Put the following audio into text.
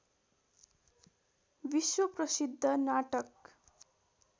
विश्व प्रसिद्ध नाटक